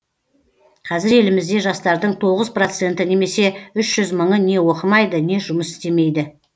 қазір елімізде жастардың тоғыз проценті немесе үш жүз мыңы не оқымайды не жұмыс істемейді